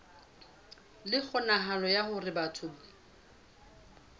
le kgonahalo ya hore batho